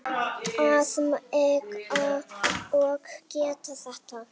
Að mega og geta þetta.